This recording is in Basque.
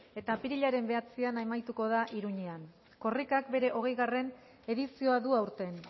eta apirilaren bederatzian amaituko da iruñean korrikak bere hogeigarrena edizioa du aurten